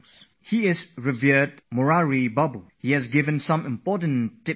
Our revered Murari Bapu has sent some important tips for students